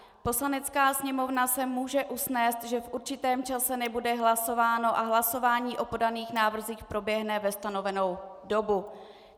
Poslanecká sněmovna se může usnést, že v určitém čase nebude hlasováno a hlasování o podaných návrzích proběhne ve stanovenou dobu.